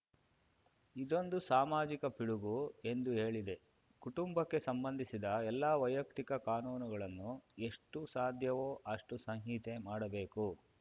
ಇದೊಂದು ಸಾಮಾಜಿಕ ಪಿಡುಗು ಎಂದು ಹೇಳಿದೆ ಕುಟುಂಬಕ್ಕೆ ಸಂಬಂಧಿಸಿದ ಎಲ್ಲ ವೈಯಕ್ತಿಕ ಕಾನೂನುಗಳನ್ನು ಎಷ್ಟುಸಾಧ್ಯವೋ ಅಷ್ಟುಸಂಹಿತೆ ಮಾಡಬೇಕು